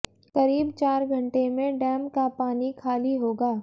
करीब चार घंटे में डैम का पानी खाली होगा